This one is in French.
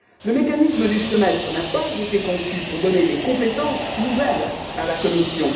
Le mécanisme du semestre européen n'a pas été conçu pour donner des compétences nouvelles à la Commission.